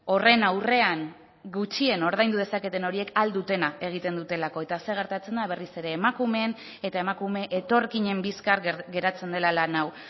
horren aurrean gutxien ordaindu dezaketen horiek ahal dutena egiten dutelako eta zer gertatzen da berriz ere emakumeen eta emakume etorkinen bizkar geratzen dela lan hau